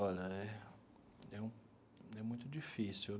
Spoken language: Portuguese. Olha, é é é muito difícil.